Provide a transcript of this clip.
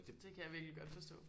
Det kan jeg virkelig godt forstå